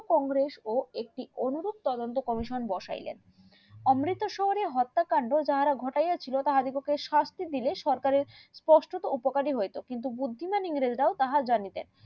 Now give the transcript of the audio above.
কংগ্রেস ও একটি অনুরোধ তদন্ত commission বসাইলেন অমৃত শহরে হত্যা কান্ড যারা ঘটিয়াছিল তাহাদেরকে শাস্তি দিলে সরকারের কষ্ট উপকারিতা হয়েছে কিন্তু বুদ্ধিমান ইংরেজরাও তাহা জানিতেন